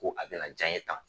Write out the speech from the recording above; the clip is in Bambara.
Ko a bɛna ja n ye tan